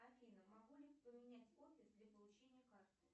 афина могу ли поменять офис для получения карты